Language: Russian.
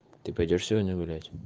ты пойдёшь сегодня гулять